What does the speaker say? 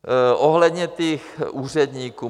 Ohledně těch úředníků.